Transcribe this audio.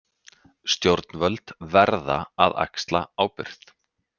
Stjórnvöld verða að axla ábyrgð